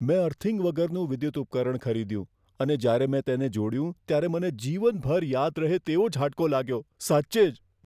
મેં અર્થિંગ વગરનું વિદ્યુત ઉપકરણ ખરીદ્યું અને જ્યારે મેં તેને જોડ્યું ત્યારે મને જીવનભર યાદ રહે તેવો ઝાટકો લાગ્યો, સાચે જ.